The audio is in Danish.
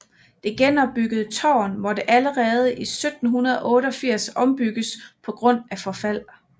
Det genopbyggede tårn måtte allerede i 1788 ombygges på grund af forfald